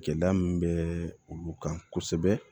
Gɛlɛya min bɛ olu kan kosɛbɛ